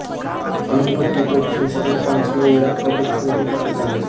अणुभट्टी तो संशोधन फ्रान्स मध्ये इराक करून खरेदी करण्यात आली